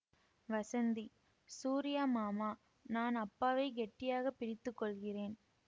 வஸந்தி சூரியா மாமா நான் அப்பாவைக் கெட்டியாக பிடித்து கொள்கிறேன்